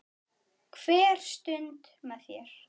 Hver stund með þér.